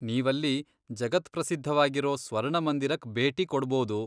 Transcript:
ನೀವಲ್ಲಿ ಜಗತ್ಪ್ರಸಿದ್ಧವಾಗಿರೋ ಸ್ವರ್ಣಮಂದಿರಕ್ ಭೇಟಿ ಕೊಡ್ಬೋದು.